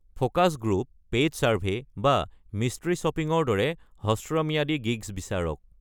Focus group, paid survey, বা mystery চপিঙৰ দৰে হ্ৰস্বম্যাদী গিগচ বিচাৰক।